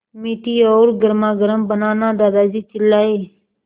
मीठी और गर्मागर्म बनाना दादाजी चिल्लाए